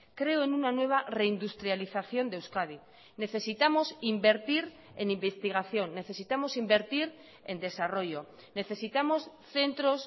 creo en una nueva reindustrialización de euskadi necesitamos invertir en investigación necesitamos invertir en desarrollo necesitamos centros